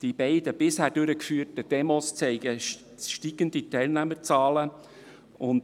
Die beiden bisher durchgeführten Demonstrationen weisen steigende Teilnehmerzahlen auf.